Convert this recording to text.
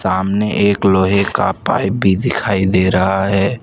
सामने एक लोहे का पाइप भी दिखाई दे रहा है।